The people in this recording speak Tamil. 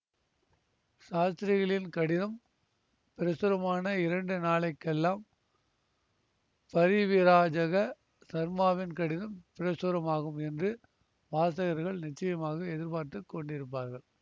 சாஸ்திரிகளின் கடிதம் பிரசுரமான இரண்டு நாளை கெல்லாம் பரிவிராஜக சர்மாவின் கடிதம் பிரசுரமாகும் என்று வாசகர்கள் நிச்சயமாக எதிர்பார்த்து கொண்டிருப்பார்கள்